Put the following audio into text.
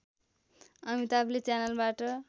अमिताभले च्यानलबाट